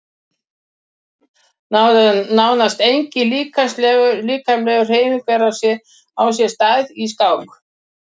Nánast engin líkamleg hreyfing á sér stað í skák.